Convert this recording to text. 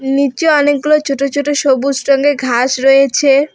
নিচে অনেকগুলো ছোট ছোট সবুজ রঙের ঘাস রয়েছে।